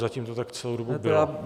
Zatím to tak celou dobu bylo.